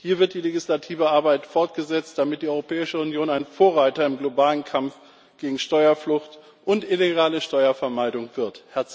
Hier wird die legislative Arbeit fortgesetzt, damit die Europäische Union ein Vorreiter im globalen Kampf gegen Steuerflucht und illegale Steuervermeidung wird.